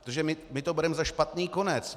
Protože my to bereme za špatný konec.